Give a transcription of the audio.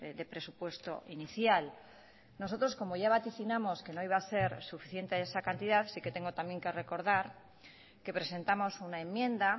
de presupuesto inicial nosotros como ya vaticinamos que no iba a ser suficiente esa cantidad sí que tengo también que recordar que presentamos una enmienda